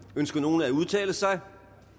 ønsker nogen at udtale sig